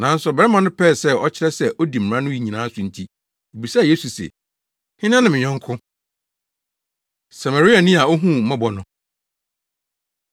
Nanso ɔbarima no pɛɛ sɛ ɔkyerɛ sɛ odi mmara no nyinaa so nti, obisaa Yesu se, “Hena ne me yɔnko?” Samariani A Ohuu Mmɔbɔ No